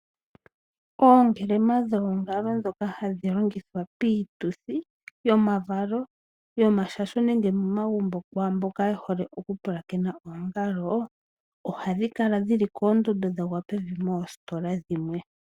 Oongelema dhoongalo dhoka hadhi longithwa piituthi yomavalo , yomashasho nenge momagumbo kwaamboka yehole okupulakena oongalo, ohadhi kala dhili poondando dhagwa pevi moositola dhimwe.